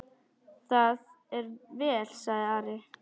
Það er vel, sagði Ari.